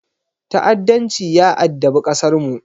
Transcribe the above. Ta’addanci ya addabi ƙasarmu.